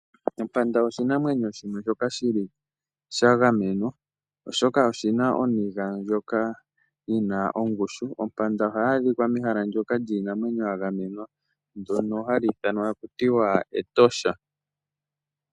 Ompanda oshinamwenyo shoka shi li sha gamenwa, oshoka oshi na oniga ndjoka yi na ongushu. Ompanda ohayi adhika mehala ndyoka lyiinamwenyo ya gamenwa, ndyono hali ithanwa taku ti Etosha.